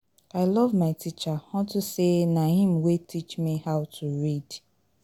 I love my teacher unto say na im wey teach me how to read